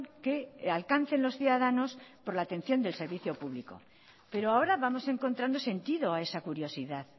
que alcancen los ciudadanos por la atención del servicio público pero ahora vamos encontrando sentido a esa curiosidad